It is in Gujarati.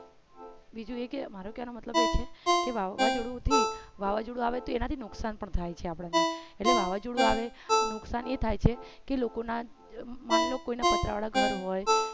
બીજું એ કે મારો કહેવા નો મતલબ એ છે કે વાવાઝોડુંથી વાવાઝોડું આવે તો એનાથી નુકસાન પણ થાય છે આપણને એટલે વાવાઝોડું આવે નુકસાન એ થાય છે કે લોકોને માની લો કે કોઈ ના પતરા વાળા ઘર હોય